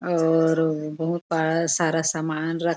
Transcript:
और बहुत सारा सारा सामान रखे--